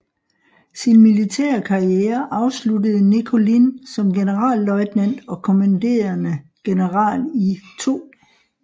Sin militære karriere afsluttede Nickolin som generalløjtnant og kommanderende general i 2